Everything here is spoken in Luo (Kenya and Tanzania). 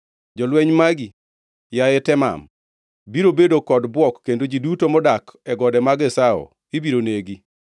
Jolweny magi, yaye Teman, biro bedo kod bwok kendo ji duto modak, e gode mag Esau ibiro negi.